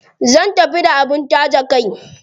Zan tafi da abin taje kai.